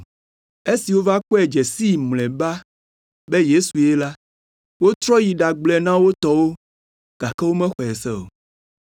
Esi wova kpɔe dze sii mlɔeba be Yesue la, wotrɔ yi ɖagblɔe na wo tɔwo gake womexɔe se o.